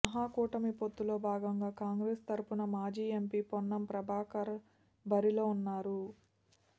మహాకూటమి పొత్తులో భాగంగా కాంగ్రెస్ తరఫున మాజీ ఎంపీ పొన్నం ప్రభాకర్ బరిలో ఉన్నారు